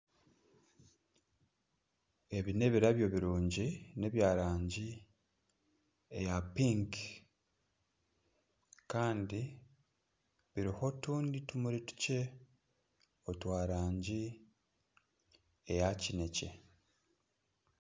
Ebi nebirabyo birungi neby'erangi eya pink Kandi biriho otundi tumuri tukye otw'erangi eya kinekye.